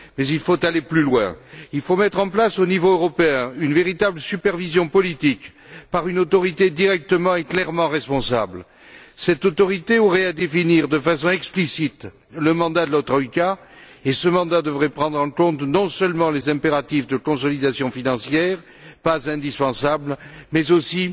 Il faut aller plus loin, il faut mettre en place au niveau européen une véritable supervision politique par une autorité directement et clairement responsable. Cette autorité aurait à définir de façon explicite le mandat de la troïka et ce mandat devrait prendre en compte non seulement les impératifs de consolidation financière, qui sont indispensables, mais aussi